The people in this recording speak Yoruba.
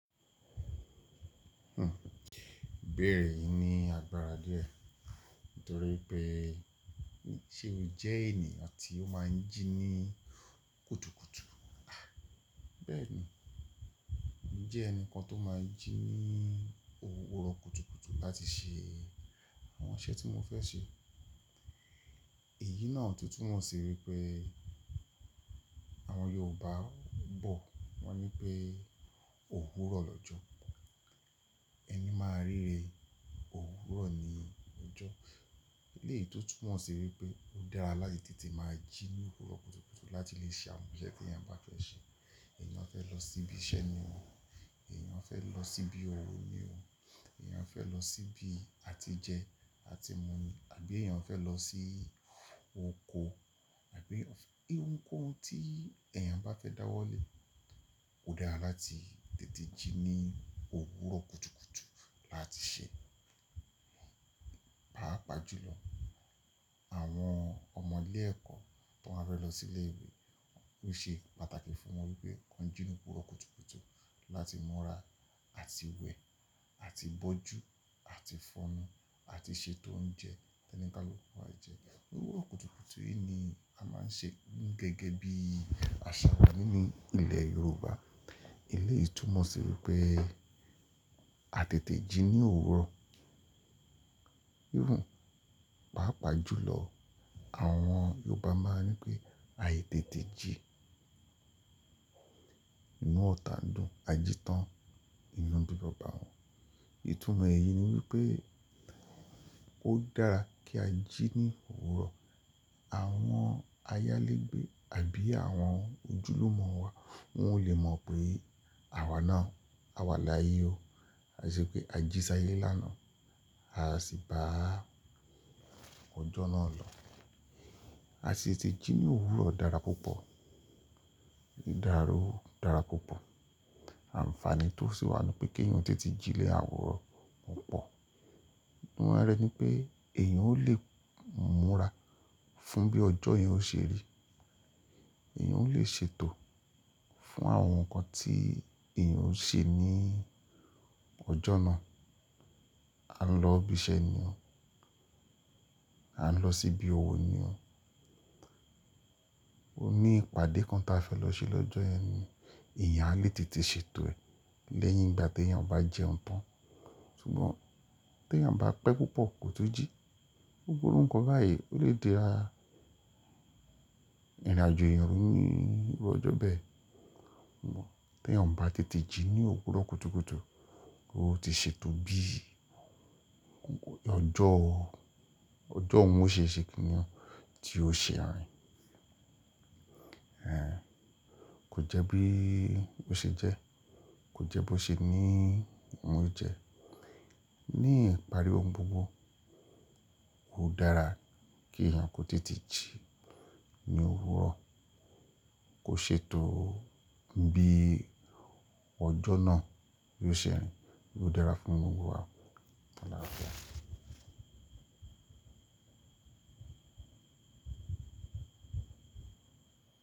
Ibeere yi ní àgbàrá díẹ̀ nítorí pé ṣe o jẹ́ ènìyàn tí ó máa ń jí ní kùtùkùtù? Bẹ́ẹ̀ni, mo jẹ́ ẹnìkan tó máa ń jí ní òwúrọ̀ kùtùkùtù láti ṣe àwọn iṣẹ́ tí mó fẹ́ ṣe. Èyí náà tún túnmọ̀ sí wípé àwọn Yorùbá bọ̀ wọ́n ní pé òwúrọ̀ lọ́jọ́, ẹni máa ríre òwúrọ̀ ní ọjọ́. Eléyìí tún túnmọ̀ sí wípé ó dára láti tètè máa jí ní òwúrọ̀ kùtùkùtù láti lè ṣe àwọn iṣẹ́ tí ẹ̀yàn bá fẹ́ ṣe. Ẹ̀yàn fẹ́ lọ síbí iṣẹ́ ni o, ẹ̀yàn fẹ́ lọ síbí òwò ni o, ẹ̀yàn fẹ́ lọ síbí àti jẹ àti mu ni, àbí ẹ̀yàn fẹ́ lọ sí oko, àbí ohunkóhun tí ẹ̀yàn bá fẹ́ dáwọ́lè, ó dára láti tètè jí ní òwúrọ̀ kùtùkùtù láti ṣe. Páàpàá jùlọ àwọn ọmọ ilé ẹ̀kọ́ tó máa fe lọ sí ilé ìwé, ó ṣe pàtàkì fún wọn wípé kàn jí ní òwúrọ̀ kùtùkùtù láti múra àti wẹ̀ àti bọ́jù àti fọnú àti ṣètò oúnjẹ tí onikaluku ma jẹ. Òwúrọ̀ kùtùkùtù yìí ni a máa ń ṣe gẹ́gẹ́ bí àṣà wa nínú ilẹ̀ Yorùbá. Eléyìí tún mọ̀ sí wípé a tètè jí ní òwúrọ̀. Páàpàá jùlọ àwọn Yorùbá máa ń ní pé aì tètè jí inú ọ̀tàndu a jí tán inú bí babà wọ́n. Ìtúmọ̀ èyí ni wípé ó dára kí a jí ní òwúrọ̀. Àwọn ayálégbé àbí àwọn ojúlùmọ̀ wa wọn ò le mọ̀ pé àwa náà a wà láyé o. A sì pé a jí sáyé lánàá, a sì bá ọjọ́ náà lọ. A sì tètè jí ní òwúrọ̀ dára púpọ̀, ìdáàró dára púpọ̀. Ànfààní tó sì wà ní pé kí ẹ̀yàn tètè jí lẹ àwuro o pọ̀. Níwọn rẹ̀ ni pé ẹ̀yàn ò lè múra fún bí ọjọ́ yẹn ó ṣe rí. Ẹ̀yàn ò lè ṣètò fún àwọn nǹkan tí ẹ̀yàn ó ṣe ní ọjọ́ náà. A ń lọ ibi iṣẹ́ ni o, a ń lọ síbí òwò ni o. O ní ìpàdé kan ta fẹ́ lọ ṣe lọ́jọ́ yen ni, ẹ̀yàn á lè tètè ṣètò ẹ̀ lẹ́yìn ìgbà tí ẹ̀yàn bá jẹun tán. Sùgbọ́n tí ẹ̀yàn bá pẹ́ púpọ̀ kò tó jí, gbogbo nǹkan báyìí ó lè dá ìrìnàjò èyàn rú níbi ọjọ́ bẹ́ẹ̀. Sugbon tí ẹ̀yàn bá tètè jí ní òwúrọ̀ kùtùkùtù, ó ti ṣètò bí ọjọ́ òun ó ṣe ṣe kínyẹn tí ó ṣe àárín. Kò jẹ́ bí ó ṣe jẹ́, kò jẹ́ bó ṣe ní òun jẹ. Ní ìparí ohun gbogbo, ó dára kí ẹ̀yàn kó tètè jí ní òwúrọ̀, kó ṣètò bí ọjọ́ náà yóò ṣe rìn. Ó dára fún gbogbo wa. Ó dára púpọ̀.